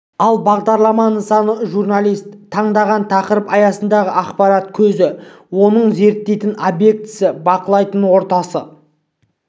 ал бағдарлама нысаны журналист таңдаған тақырып аясындағы ақпарат көзі оның зерттейтін обектісі бақылайтын ортасы